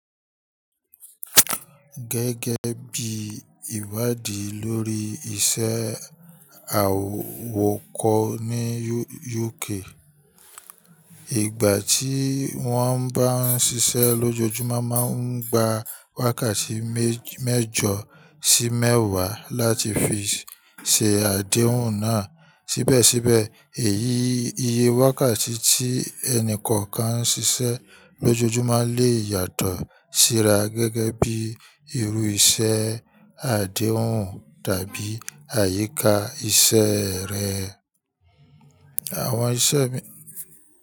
Gẹ́gẹ́ bí ìwádí lórí iṣẹ́ àwọ̀kọ́ ní UK, ìgbà tí wọ́n bá ń ṣiṣẹ́ lójoojúmọ́ máa ń gba wákàtí mẹ́jọ sí mẹ́wà láti fi ṣe àdéhùn náà. Síbẹ̀síbẹ̀, èyí iye wákàtí tí ẹni kọ̀ọ̀kan ń ṣiṣẹ́ lójoojúmọ́ lè yàtọ̀ síra gẹ́gẹ́ bí irú iṣẹ́ àdéhùn tàbí àyíká iṣẹ́ rẹ̀. Àwọn iṣẹ́